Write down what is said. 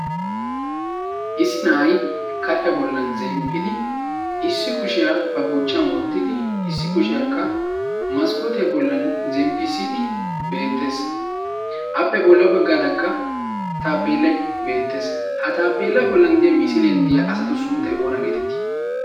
issi na'ay kariyaa bollan zemppidi issi kushiyaa ba buuchchyan wottidi issi kushiyaakka maskkootiyaa bollan zemppisiidi beettees appe bolla baggaaraakka taapeelay beettees ha taapeelaa bollan diya misiilian diyaa asatu sunttay oona geetetii